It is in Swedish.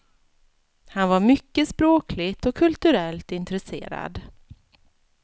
Han var mycket språkligt och kulturellt intresserad.